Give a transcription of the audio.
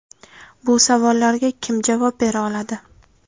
Bu savollarga kim javob bera oladi?